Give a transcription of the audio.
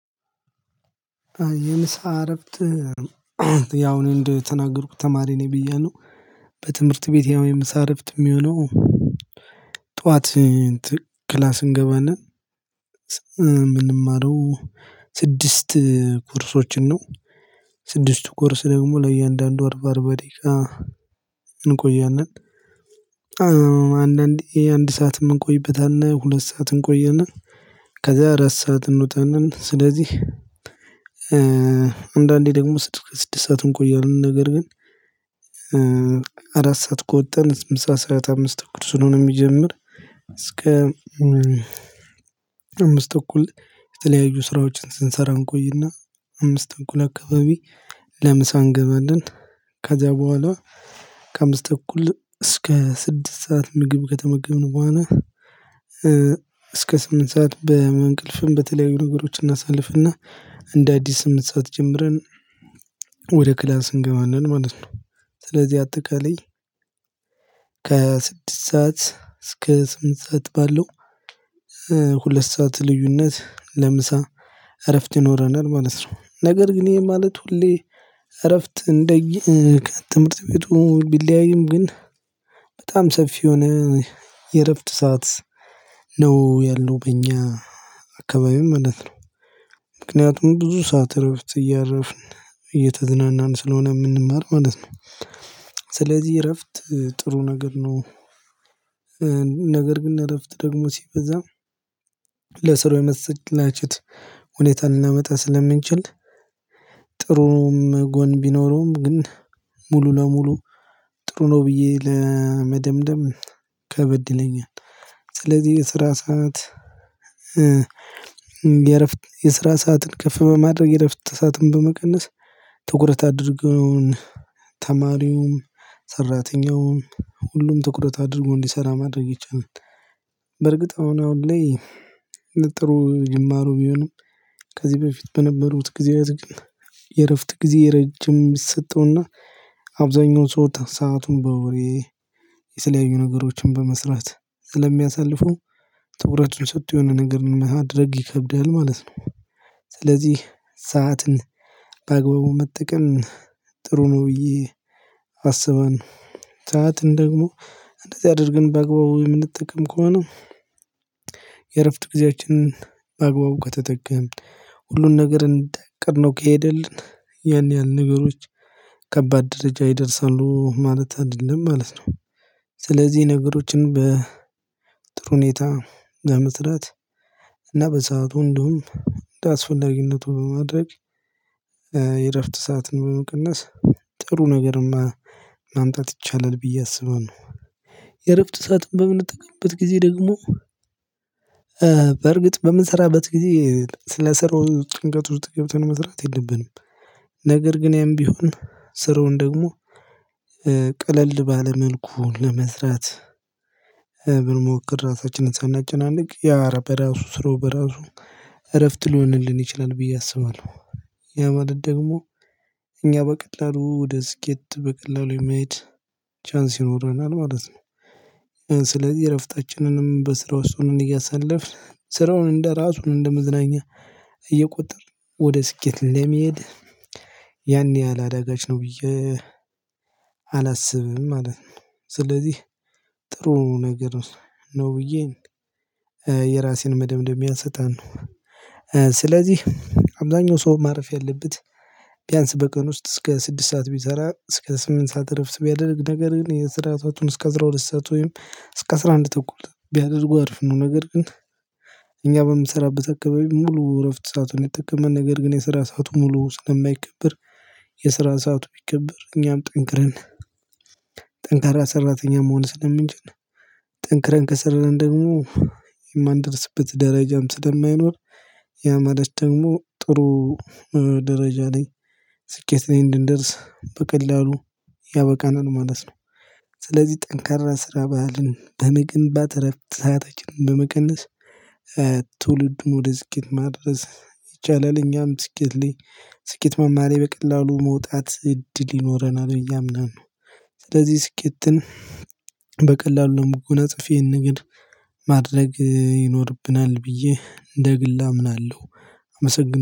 የምሳ ረፍት ያው እኔ እንደተናገርኩት ተማሪ ነኝ ብያለሁ በትምህርት ቤት ያው የምሳ ረፍት የሚሆነው ጠዋት ክላስ እንገባና ምንማረው ስድስት ኮርሶችን ነው ስድስቱ ኮርስ ደግሞ ለእያንዳንዱ አርባ አርባ ደቂቃ እንቆያለን አንዳንዴ አንድ ሰዓት እምንቆይበት አለ ሁለት ሰዓት እንቆያለን ከዚያ አራት ሰዓትን እንወጣለን ስለዚህ አንዳንዴ ደግሞ ስድስት ሰዓት እንቆያለን ነገር ግን አራት ሰዓት ከወጣን ምሳ ሰዓት አምስት ተኩል ስለሆነ የሚጀምር እስከ አምስት ተኩል የተለያዩ ስራዎችን ስንሰራ እንቆይና አምስት ተኩል አካባቢ ለምሳ እንገባለን ከዚያ በኋላ ከአምስት ተኩል እስከ ስድስት ሰዓት ምግብ ከተመገብን በኋላ እስከ ስምንት ሰዓት በ በእንቅልፍም በተለያዩ ነገሮች እናሳልፍና እንደ አዲስ ስምንት ሰዓት ጀምረን ወደ ክላስ እንገባለን ማለት ነው። ስለዚህ አጠቃላይ ከስድስት ሰዓት እስከ ስምንት ሰዓት ባለው ሁለት ሰዓት ልዩነት ለምሳ እረፍት ይኖረናል ማለት ነው ነገር ግን ይሄ ማለት ሁሌ እረፍት እንደየ ከትምህርት ቤቱ ቢለያይም ግን በጣም ሰፊ የሆነ የእረፍት ሰዓት ነው ያለው በእኛ አካባቢም ማለት ነው ምክንያቱም ብዙ ሰዓት ረፍት እያረፍን እየተዝናናን ስለሆነ የምንማር ማለት ነው ስለዚህ እረፍት ጥሩ ነገር ነው ነገር ግን እረፍት ደግሞ ሲበዛ ለስራው የመሰላቸት ሁኔታ ልናመጣ ስለምንችል ጥሩም ጎን ቢኖረውም ግን ሙሉ ለሙሉ ጥሩ ነው ብዬ ለመደምደም ከበድ ይለኛል ስለዚህ የስራ ሰዓት የእረፍት የስራ ሰዓትን ከፍ በማድረግ የረፍት ሰዓትን በመቀነስ ትኩረት አድርገውን ተማሪውም ሰራተኛውም ሁሉም ትኩረት አድርጎ እንዲሰራ ማድረግ ይቻላል በርግጥ አሁን አሁን ላይ ጥሩ ጅማሮ ቢሆንም ከዚህ በፊት በነበሩት ጊዜያት ግን የእረፍት ጊዜ ረጅም ይሰጠውና አብዛኛውን ሰው ሰአቱን በወሬ የተለያዩ ነገሮችን በመስራት ስለሚያሳልፈው ትኩረቱን ሰጥቶ የሆነ ነገር ማድረግ ይከብዳል ማለት ነው ስለዚህ ሰዓትን በአግባቡ መጠቀም ጥሩ ነው ብዬ አስባለሁ። ሰዓትን ደግሞ እንደዚህ አድርገን በአግባቡ የምንጠቀም ከሆነ የእረፍት ጊዜያችንን በአግባቡ ከተጠቀምን ሁሉን ነገር እንዳቀድነው ከሄደልን ያን ያህል ነገሮች ከባድ ደረጃ ይደርሳሉ ማለት አይደለም ማለት ነው ስለዚህ ነገሮችን በጥሩ ሁኔታ ለመስራት እና በሰአቱ እንደውም እንደአስፈላጊነቱ በማድረግ የእረፍት ሰዓትን በመቀነስ ጥሩ ነገር ማ ማምጣት ይቻላል ብዬ አስባለሁ የእረፍት ሰዓትን በምንጠቅምበት ጊዜ ደግሞ በርግጥ በምንሰራበት ጊዜ ስለስራው ጭንቀት ውስጥ ገብተን መስራት የለብንም ነገር ግን ያም ቢሆን ስራውን ደግሞ ቀለል ባለ መልኩ ለመስራት ብንሞክር ራሳችንን ሳናጨናንቅ ያ በራሱ ስራው በራሱ እረፍት ሊሆንልን ይችላል ብዬ አስባለሁ ያ ማለት ደግሞ እኛ በቀላሉ ወደ ስኬት በቀላሉ የመሄድ ቻንስ ይኖረናል ማለት ነው ስለዚህ እረፍታችንንም በስራ ውስጥ ሆነን እያሳለፍን ስራውን እንደራሱን እንደመዝናኛ እየቆጠርን ወደ ስኬት ለመሄድ ያን ያህል አዳጋች ነው ብዬ አላስብም ማለት ነው ስለዚህ ጥሩ ነገር ነው ብዬ የራሴን መደምደሚያ እሰጣለሁ ስለዚህ አብዛኛው ሰው ማረፍ ያለበት ቢያንስ በቀን ውስጥ እስከ ስድስት ሰዓት ቢሰራ እስከ ስምንት ሰዓት እረፍት ቢያደርግ ነገር ግን የስራ ሰአቱን እስከ አስራ ሁለት ሰዓት ወይም እስከ አስራ አንድ ተኩል ቢያደርገው አሪፍ ነው ነገር ግን እኛ በምንሰራበት አካባቢ ሙሉ እረፍት ሰዓቱ ነው የጠቀመን ነገር ግን የሰራ ሰዓቱ ሙሉ ስለማይከብር የስራን ሰዓቱ ቢከበር እኛም ጠንክረን ጠንካራ ሰራተኛ መሆን ስለምንችል ጠንክረን ከስራን ደግሞ የማንደርስበት ደራጃም ስለማይኖር ያ ማለት ደግሞ ጥሩ ደረጃ ላይ ስኬት ላይ እንድንደርስ በቀላሉ ያበቃናል ማለት ነው ስለዚህ ጠንካራ ስራ ባህልን በመገንባት እረፍት ሰአታችንን በመቀነስ ትውልዱን ወደ ስኬት ማድረስ ይቻላል እኛም ስኬት ላይ ስኬት ማማ ላይ በቀላሉ መውጣት እድል ይኖረናል ብዬ አምናለሁ። ስለዚህ ስኬትን በቀላሉ ለመጎናፀፍ ይሄን ነገር ማድረግ ይኖርብናል ብዬ እንደግል አምናለሁ። አመሰግናለሁ